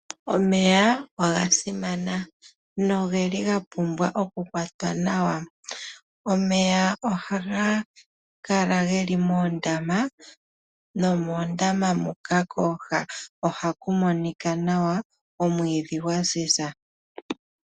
Omeya oga simana ,no geli ga pumbwa oku kwatwa nawa. Omeya oha ga kala geli moondama nomoondama muka kooha oha ku monika nawa omwiidhi gwa ziza.